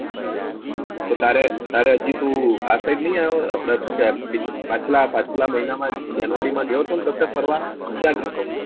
તારે તારે હજી તું આ side નહી આયો આપડે શું કહેવાય પાછલા પાછલા મહિના માં જનવરી માં ગયો તો કસે ફરવા ક્યાં ગ્યો તો?